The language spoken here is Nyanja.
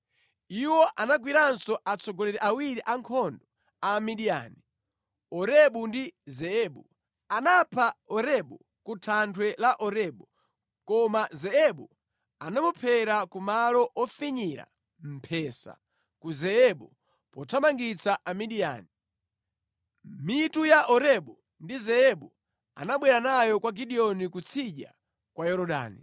Iwo anagwiranso atsogoleri awiri a nkhondo a Amidiyani, Orebu ndi Zeebu. Anapha Orebu ku thanthwe la Orebu, koma Zeebu anamuphera ku malo ofinyira mphesa ku Zeebu pothamangitsa Amidiyani. Mitu ya Orebu ndi Zeebu anabwera nayo kwa Gideoni kutsidya kwa Yorodani.